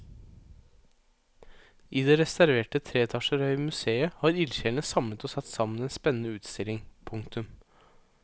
I det restaurerte tre etasjer høye museet har ildsjelene samlet og satt sammen en spennende utstilling. punktum